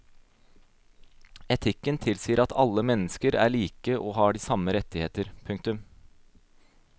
Etikken tilsier at alle mennesker er like og har de samme rettigheter. punktum